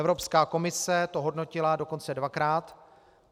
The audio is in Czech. Evropská komise to hodnotila dokonce dvakrát.